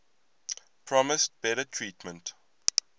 promised better treatment